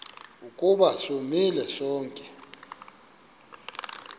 ukuba sonile sonke